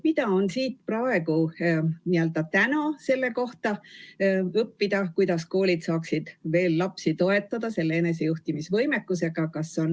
Mida on praegu õppida selle kohta, kuidas koolid saaksid veel lapsi toetada, et nende enesejuhtimisvõimekus oleks parem?